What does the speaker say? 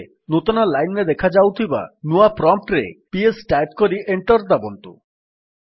ଏବେ ନୂତନ ଲାଇନ୍ ରେ ଦେଖାଯାଉଥିବା ନୂଆ ପ୍ରମ୍ପ୍ଟ୍ ରେ ପିଏସ୍ ଟାଇପ୍ କରି ଏଣ୍ଟର୍ ଦାବନ୍ତୁ